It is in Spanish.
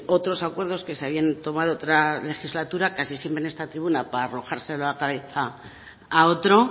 otros acuerdos que se habían tomado en otra legislatura casi siempre en esta tribuna para arrojárselo a la cabeza a otro